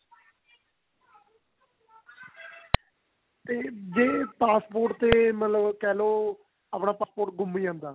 ਤੇ ਜੇ passport ਤੇ ਮਤਲਬ ਕਿਹ ਲੋ ਆਪਣਾ passport ਗੁੰਮ ਜਾਂਦਾ